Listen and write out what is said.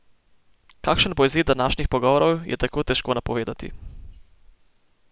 Kakšen bo izid današnjih pogovorov, je tako težko napovedati.